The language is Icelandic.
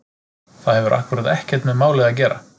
Það hefur akkúrat ekkert með málið að gera!